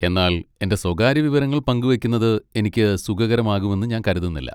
എന്നാൽ എന്റെ സ്വകാര്യ വിവരങ്ങൾ പങ്കുവെക്കുന്നത് എനിക്ക് സുഖകരമാകുമെന്ന് ഞാൻ കരുതുന്നില്ല.